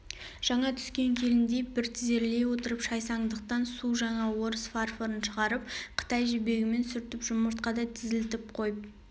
жаңа түскен келіндей бір тізерлей отырып шайсаңдықтан су жаңа орыс фарфорын шығарып қытай жібегімен сүртіп жұмыртқадай тізілтіп қойып